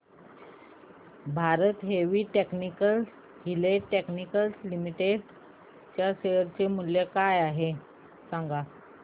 Bharat heavy electricals limited share शेअर चे मूल्य काय आहे सांगा